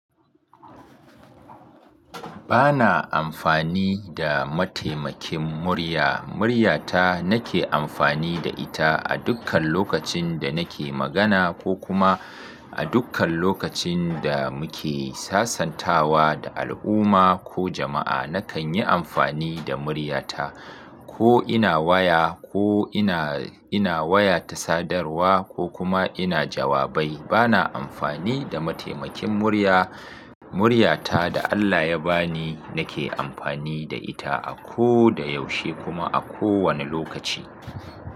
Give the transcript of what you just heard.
Ba na amfani da mataimakin murya. Muryata nake amfani da ita a dukkan lokacin da nake magana ko kuma a dukkan lokacin da muke sasantawa da al'umma ko jama'a. Nakan yi amfani da muryata ko ina waya ko ina, ina waya ta sadarwa ko kuma ina jawabai. Ba na amfani da mataimakin murya. Muryata da Allah ya ba ni nake amfani da ita a ko da yaushe kuma a kowane lokaci.